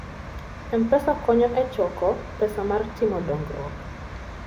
M-Pesa konyo e choko pesa mar timo dongruok.